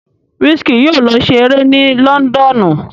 Wizkid yóò lọ se eré ni lọ́ńdọ́ọ̀nù.